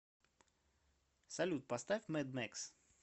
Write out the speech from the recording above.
салют поставь мэд мэкс